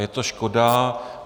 Je to škoda.